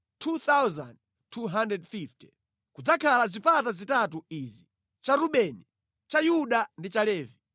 kudzakhale zipata zitatu izi: cha Rubeni, cha Yuda ndi cha Levi.